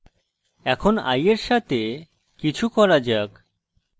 এখন i এর সাথে কিছু করা যাক